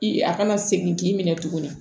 I a kana segin k'i minɛ tuguni